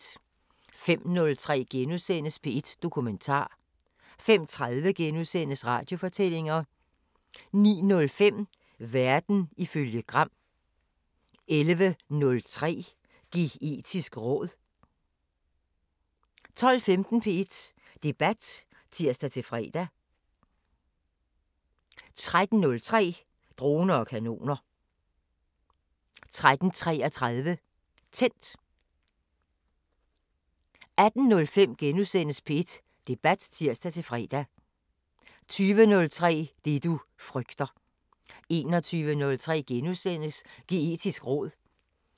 05:03: P1 Dokumentar * 05:30: Radiofortællinger * 09:05: Verden ifølge Gram 11:03: Geetisk råd 12:15: P1 Debat (tir-fre) 13:03: Droner og kanoner 13:33: Tændt 18:05: P1 Debat *(tir-fre) 20:03: Det du frygter 21:03: Geetisk råd *